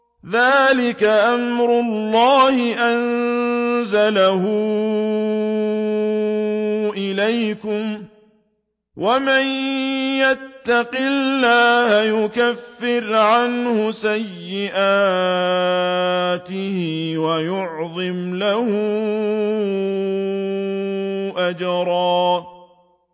ذَٰلِكَ أَمْرُ اللَّهِ أَنزَلَهُ إِلَيْكُمْ ۚ وَمَن يَتَّقِ اللَّهَ يُكَفِّرْ عَنْهُ سَيِّئَاتِهِ وَيُعْظِمْ لَهُ أَجْرًا